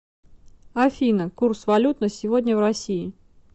афина курс валют на сегодня в россии